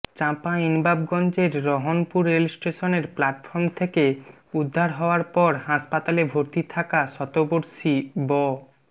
চাঁপাইনবাবগঞ্জের রহনপুর রেলস্টেশনের প্লাটফর্ম থেকে উদ্ধার হওয়ার পর হাসপাতালে ভর্তি থাকা শতবর্ষী ব